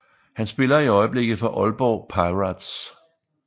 Han spiller i øjeblikket for Aalborg Pirates